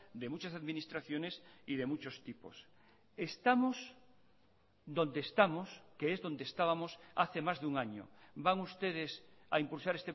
de muchas administraciones y de muchos tipos estamos donde estamos que es donde estábamos hace más de un año van ustedes a impulsar